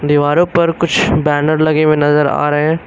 दीवारों पर कुछ बैनर लगे हुए नजर आ रहे हैं।